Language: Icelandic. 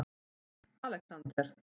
Alexander